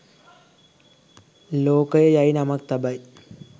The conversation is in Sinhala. ලෝකය යැයි නමක් තබයි